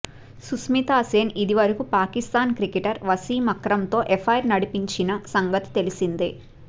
Sushmita Sen ఇదివరకూ Pakistan cricketer వశీం అక్రమ్తో affair నడిపించిన సంగతి తెలిసిందే